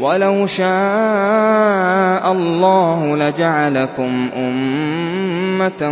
وَلَوْ شَاءَ اللَّهُ لَجَعَلَكُمْ أُمَّةً